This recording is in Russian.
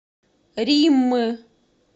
риммы